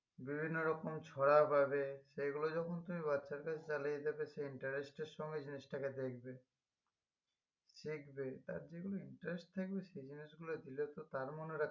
বিভিন্ন রকম ছড়া পাবে এগুলো যখন তুমি বাচ্চাদের সে interest এর সমেত জিনিসটাকে দেখবে দেখবে তার যেগুলোতে interest থাকবে সে জিনিসগুলো দিলে তো